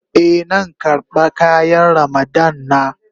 Eh, nan karba kayan Ramadan na.